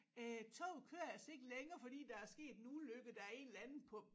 Øh toget kører altså ikke længere fordi der er sket en ulykke der er en eller anden på